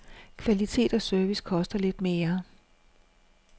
Kvalitet og service koster lidt mere.